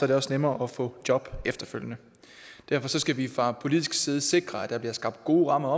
det også nemmere at få job efterfølgende derfor skal vi fra politisk side sikre at der bliver skabt gode rammer